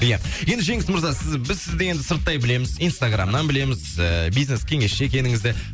ия енді жеңіс мырза сіз біз сізді енді сырттай білеміз инстаграмнан білеміз і бизнес кеңесші екеніңізді